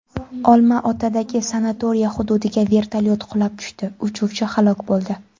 Olmaotadagi sanatoriya hududiga vertolyot qulab tushdi, uchuvchi halok bo‘ldi.